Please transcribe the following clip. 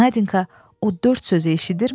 Nadinka o dörd sözü eşidirmi?